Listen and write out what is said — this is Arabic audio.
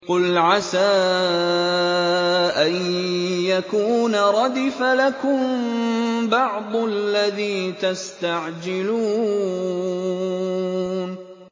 قُلْ عَسَىٰ أَن يَكُونَ رَدِفَ لَكُم بَعْضُ الَّذِي تَسْتَعْجِلُونَ